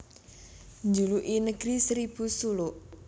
Dijuluki Negeri Seribu Suluk